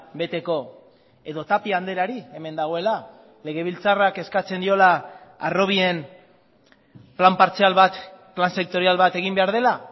beteko edo tapia andreari hemen dagoela legebiltzarrak eskatzen diola harrobien plan partzial bat plan sektorial bat egin behar dela